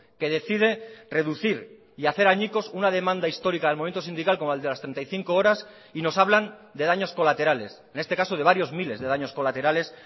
que decide reducir y hacer añicos una demanda histórica del momento sindical como el de las treinta y cinco horas y nos hablan de daños colaterales en este caso de varios miles de daños colaterales